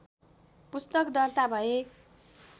पुस्तक दर्ता भए